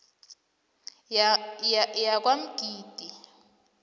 yakwamgidi